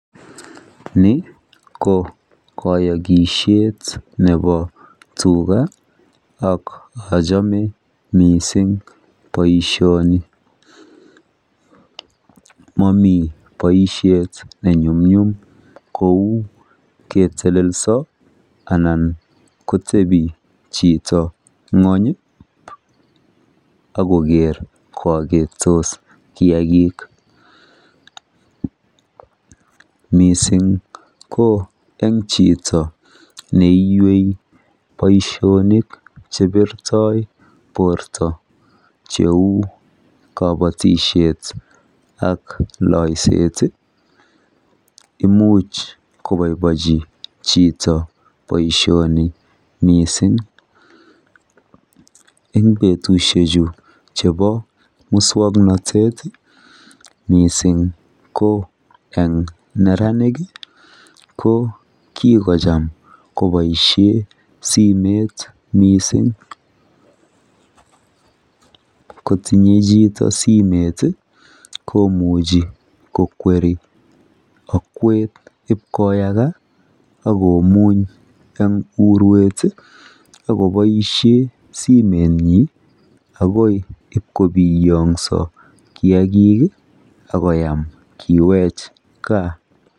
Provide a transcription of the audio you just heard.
ni ko koyogisyeet nebo tuga, ak ochome mising boishoni, momii boishet nenyumnyum kou ketelelso anna kotebi chito ngwony iih ak kogeer `koagetos kiagik, mising ko en chito neiywei boishonik chebirtoo borto cheuu kobotishet ak loiseet, imuch koboibochi chito baishoni mising, en betushek chu chebo muswoknotet iih mising ko en neranik ko kigocham koboisheen simeet mising, kotinye chito simet iih komuche kokweri akweet ib koyaga ak komuny en urweet iih ak koboishen simeet nyin ogoi ib kobiyoso kiagiik ak koyaam kiweech gaa.